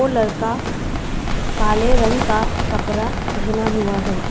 लड़का काले रंग का कपड़ा पहना हुआ है।